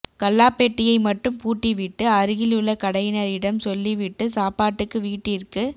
கல்லாபெட்டியை மட்டும் பூட்டிவிட்டு அருகிலுள்ள கடையினரிடம் சொல்லிவிட்டு சாப்பாட்டுக்கு வீட்டிற்கு